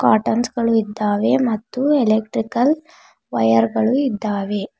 Cottons ಗಳು ಇದ್ದಾವೆ ಮತ್ತು ಎಲೆಕ್ಟ್ರಿಕಲ್ ವೈರ್ ಗಳು ಇದ್ದಾವೆ.